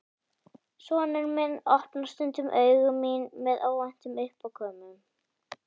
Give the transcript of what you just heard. Sonur minn opnar stundum augu mín með óvæntum uppákomum.